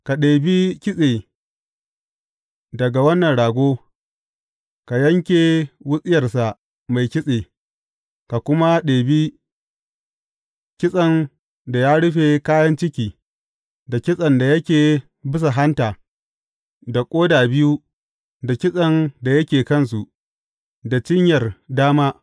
Ka ɗebi kitse daga wannan rago, ka yanke wutsiyarsa mai kitse, ka kuma ɗebi kitsen da ya rufe kayan ciki, da kitsen da yake bisa hanta, da ƙoda biyu da kitsen da yake kansu, da cinyar dama.